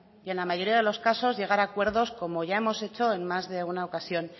y en la mayoría de los casos llegar a acuerdos como ya hemos hecho en más de una ocasión